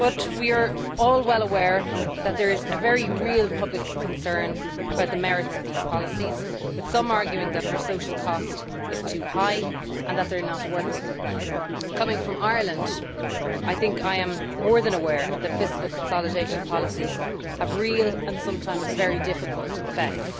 We are all well aware that there is a very real public concern about the merits of these policies, with some arguing that their social cost is too high and that they are not working. Coming from Ireland, I think that I am more than aware that fiscal consolidation policies have real and sometimes very difficult effects.